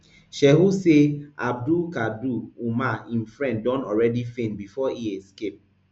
shehu say abdulkadir umar im friend don already faint before e escape